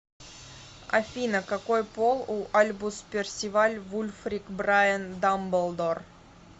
афина какой пол у альбус персиваль вульфрик брайан дамблдор